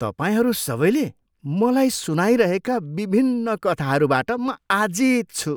तपाईँहरू सबैले मलाई सुनाइरहेका विभिन्न कथाहरूबाट म आजित छु।